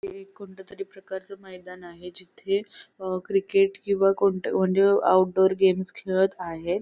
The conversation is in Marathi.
हे एक कोणत्यातरी प्रकारचं मैदान आहे जिथे अ क्रिकेट किंवा कोणत्या म्हणजे आउट डोअर गेम्स खेळत आहेत.